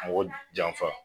Mɔgɔ janfa